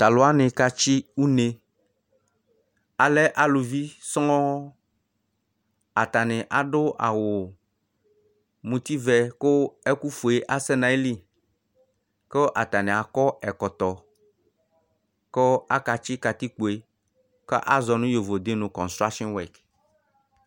Talu woani ka tsi uné alɛ aluvi sɔn atani adu awu muti vɛ ku ɛku fué asɛ nayili ku atani akɔ ɛkɔtɔ ku akatsi katikpoé kazɔ nu yovodé nu kɔchuoa suyɛ